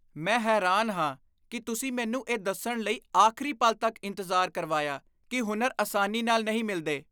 ਮੈਂ ਹੈਰਾਨ ਹਾਂ ਕਿ ਤੁਸੀਂ ਮੈਨੂੰ ਇਹ ਦੱਸਣ ਲਈ ਆਖ਼ਰੀ ਪਲ ਤੱਕ ਇੰਤਜ਼ਾਰ ਕਰਵਾਇਆ ਕਿ ਹੁਨਰ ਆਸਾਨੀ ਨਾਲ ਨਹੀਂ ਮਿਲਦੇ।